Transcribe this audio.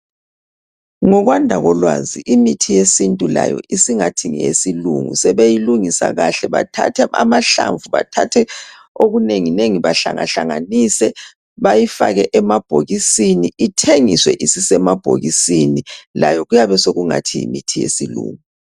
Ngokwanda kolwazi imithi yesintu layo isingathi ngesilungu sebeyilungisa kahle bathathe amahlamvu bathathe okunenginengi bahlanganise bayifake emabhokisini ithengiswe isemabhokini. layo. kuyane sekungathi yimithi yesilungu.